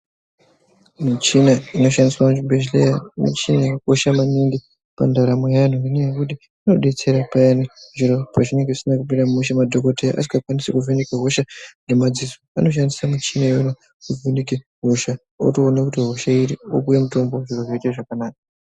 Michina inoshandiswa muchibhedhlera michini inokosha maningi pandaramo yevantu ngekuti inodetsera payani zviro pezvinenge zvisina kumira mushe, madhogodheya asingakwanisi kuvheneka hosha ngemadziso, anoshandisa muchini iyona kuvheneke hosha otoona kuti hosha irikude mutombo, zvoite zvakanaka.